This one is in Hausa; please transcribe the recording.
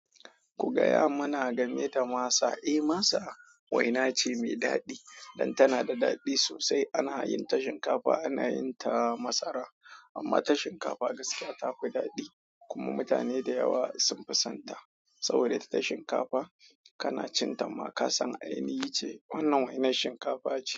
Ku gaya mana game da masa. Eh, masa waina ce mai daɗi, don tana da daɗi sosai. Ana yin ta shinkafa, ana yin ta masara, amma ta shinkafa gaskiya ta fi daɗi. Kuma mutane da yawa sun fi sonta saboda ta shinkafa. Kana cin ta ma ka san ainihi ce. Wannan wainar shinkafa ce.